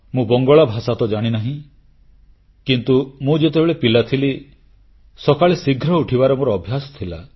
ମୁଁ ବଙ୍ଗଳା ଭାଷା ତ ଜାଣିନାହିଁ କିନ୍ତୁ ମୁଁ ଯେତେବେଳେ ପିଲା ଥିଲି ସକାଳେ ଶୀଘ୍ର ଉଠିବାର ମୋର ଅଭ୍ୟାସ ଥିଲା